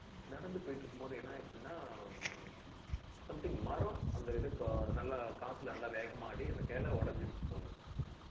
நடந்து போயிட்டு இருக்கும்போது, என்ன ஆயிருச்சுன்னா, something மரம், அந்த இது நல்லா காத்துல நல்லா வேகமா ஆடி, அந்த கிளை உடைஞ்சிருச்சு போல.